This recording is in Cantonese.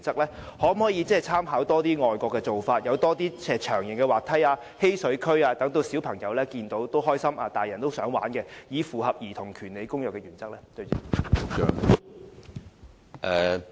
當局可否多參考外國遊樂場的做法，引進更多長形滑梯、嬉水區等，讓小朋友看到也感到開心，成年人看到也想一同參與，以符合《兒童權利公約》的原則？